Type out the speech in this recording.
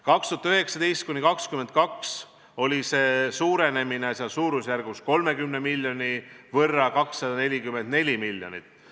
2019–2022 toimus suurenemine suurusjärgus 150 miljoni võrra, 393 miljonit.